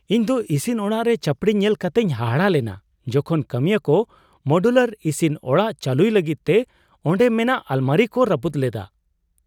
ᱤᱧᱫᱚ ᱤᱥᱤᱱ ᱚᱲᱟᱜ ᱨᱮ ᱪᱟᱹᱯᱲᱤ ᱧᱮᱞ ᱠᱟᱛᱤᱧ ᱦᱟᱦᱟᱲᱟᱜ ᱞᱮᱱᱟ ᱡᱚᱠᱷᱚᱱ ᱠᱟᱹᱢᱤᱭᱟᱹ ᱠᱚ ᱢᱚᱰᱩᱞᱟ ᱤᱥᱤᱱ ᱚᱲᱟᱜ ᱪᱟᱹᱞᱩᱭ ᱞᱟᱹᱜᱤᱫ ᱛᱮ ᱚᱸᱰᱮ ᱢᱮᱱᱟᱜ ᱟᱞᱢᱟᱨᱤᱠᱚ ᱨᱟᱹᱯᱩᱫ ᱞᱮᱫᱟ ᱾